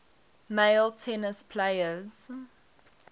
male tennis players